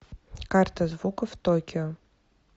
карта звуков токио